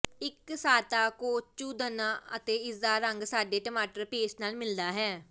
ਇਕਸਾਰਤਾ ਕੋਚੂਦਨਾ ਅਤੇ ਇਸਦਾ ਰੰਗ ਸਾਡੇ ਟਮਾਟਰ ਪੇਸਟ ਨਾਲ ਮਿਲਦਾ ਹੈ